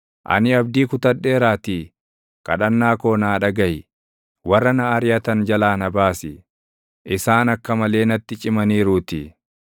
Ani abdii kutadheeraatii, kadhannaa koo naa dhagaʼi; warra na ariʼatan jalaa na baasi; isaan akka malee natti cimaniiruutii.